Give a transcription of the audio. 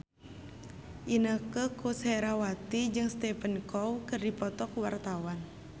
Inneke Koesherawati jeung Stephen Chow keur dipoto ku wartawan